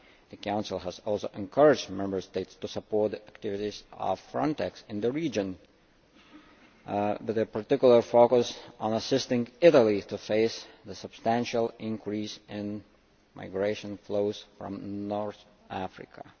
The Council has also encouraged Member States to support the activities of Frontex in the region, with a particular focus on assisting Italy to face the substantial increase in migration flows from North Africa.